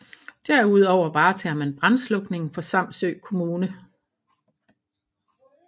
Derudover varetager man brandslukningen for Samsø Kommune